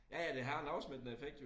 Ja ja det ha en afsmittende effekt jo